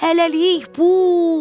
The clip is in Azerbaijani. Hələlik, Pux!